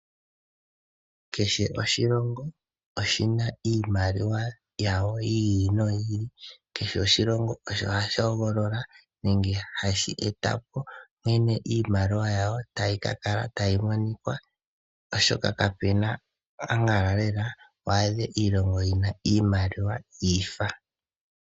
Kehe oshilongo oshina iimaliwa yasho yi ili noyi ili, kehe oshilongo osho hashi hogolola nenge hashi etapo nkene iimaliwa yawo tayi monika oshoka kapena ambala wa adhe iimaliwa yiifa.